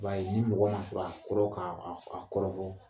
Ba ye ni mɔgɔ ma sɔrɔ a koron k'a kɔrɔfɔ